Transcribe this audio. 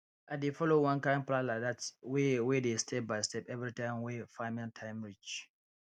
i dey follow one kind plan like dat wey wey dey step by step everytime wey farming time reach